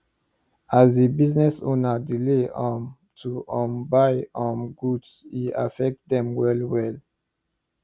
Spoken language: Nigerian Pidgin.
as the business owner delay um to um buy um goods e affect them well well